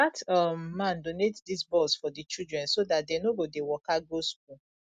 dat um man donate dis bus for the children so dat dey no go dey waka go school